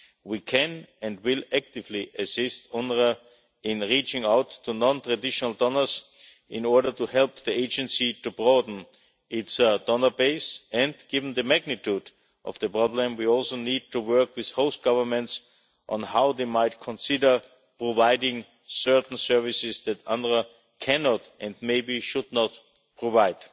We can and will actively assist UNRWA in reaching out to non-traditional donors in order to help the agency to broaden its donor base and, given the magnitude of the problem, we also need to work with host governments on how they might consider providing certain services that UNRWA cannot and maybe should not provide.